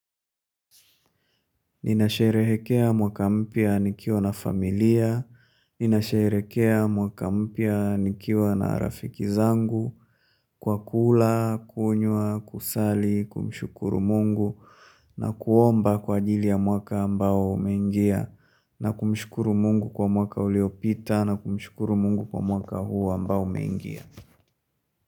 Nina sherehekea mwaka mpya nikiwa na familia, ninasherekea mwaka mpya nikiwa na rafiki zangu, kwa kula, kunywa, kusali, kumshukuru mungu, na kuomba kwa ajili ya mwaka ambao umeingia, na kumshukuru mungu kwa mwaka uliopita, na kumshukuru mungu kwa mwaka huu ambao umengia.